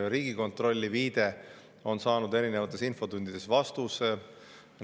Riigikontrollile viidates on saanud erinevates infotundides vastuse.